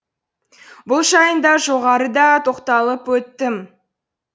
бұл жайында жоғарыда тоқталып өттім